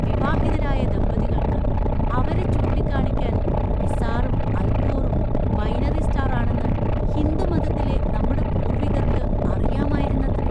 വിവാഹിതരായ ദമ്പതികൾക്ക് അവരെ ചൂണ്ടിക്കാണിക്കാൻ മിസാറും അൽകോറും ബൈനറി സ്റ്റാർ ആണെന്ന് ഹിന്ദു മതത്തിലെ നമ്മുടെ പൂർവ്വികർക്ക് അറിയാമായിരുന്നത്രെ.